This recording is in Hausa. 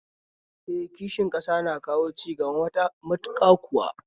Eh, kishin ƙasa na kawo cigaba matuƙa kuwa